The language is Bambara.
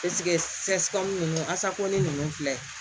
ninnu asakɔnɛ ninnu filɛ